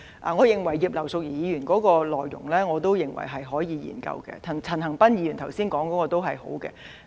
我認為葉劉淑儀議員的議案是可以研究的；陳恒鑌議員剛才提出的建議也不錯。